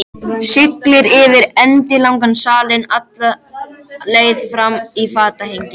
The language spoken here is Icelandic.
Siglir yfir endilangan salinn, alla leið fram í fatahengið.